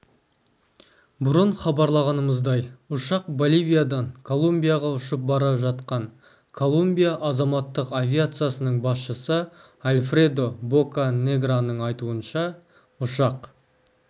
бұрын хабарлағанымыздай ұшақ боливиядан колумбияға ұшып бара жатқан колумбия азаматтық авиациясының басшысы альфредо боканеграның айтуынша ұшақ